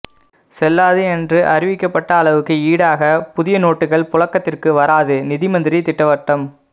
செல்லாது என்று அறிவிக்கப்பட்ட அளவுக்கு ஈடாக புதிய நோட்டுகள் புழக்கத்திற்கு வராது நிதிமந்திரி திட்டவட்டம்